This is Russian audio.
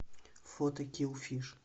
фото килл фиш